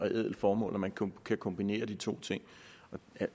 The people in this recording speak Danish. ædelt formål at man kan kombinere de to ting